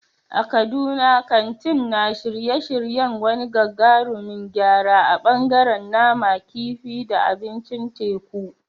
A Kaduna, kantin na shirye-shiryen wani gagarumin gyara a ɓangaren nama, kifi, da abincin teku.